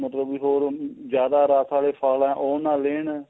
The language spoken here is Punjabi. ਮਤਲਬ ਬੀ ਹੋਰ ਉਹ ਜਿਆਦਾ ਰੱਸ ਵਾਲੇ ਫੱਲ ਏ ਉਹ ਨਾ ਦੇਣ